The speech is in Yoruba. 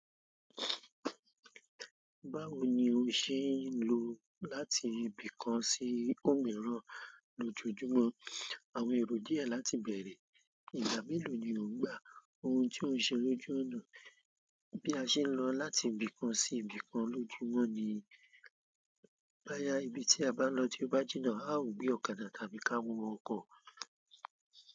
Báwo ni o ṣe ń lọ láti ibì kan sí òmíràn lójoojúmọ́? Àwọn èrò díẹ̀ láti bẹ̀rẹ̀, ìgbà mélòó ni ò ń gbà ohun tí oun ṣe lójú ọ̀nà bí a ṣe ń lọ láti ibì kan sí ibì kan lójoojúmọ́ ni? Báya ibi tí a n lọ̀ to ba jina, a ó gbé ọ̀kadà tàbí ká wọ ọkọ̀.